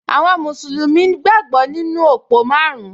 Àwọn mùsùlùmí gbàgbọ́ nínú òpó márùn-ún